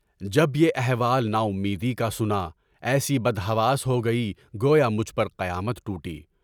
جب یہ احوال ناامیدی کا سنا، ایسی بدحواس ہو گئی گویا مجھ پر قیامت ٹوٹی۔